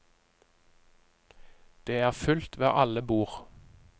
Det er fullt ved alle bord.